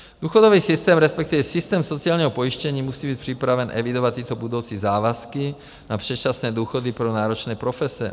Důchodový systém, respektive systém sociálního pojištění, musí být připraven evidovat tyto budoucí závazky na předčasné důchody pro náročné profese.